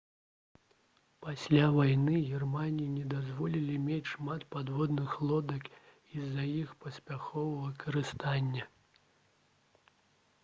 пасля вайны германіі не дазволілі мець шмат падводных лодак з-за іх паспяховага выкарыстання